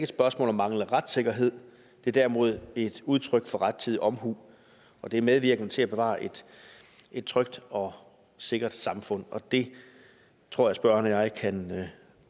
spørgsmål om manglende retssikkerhed men derimod et udtryk for rettidig omhu og det er medvirkende til at bevare et trygt og sikkert samfund og det tror jeg spørgeren og jeg kan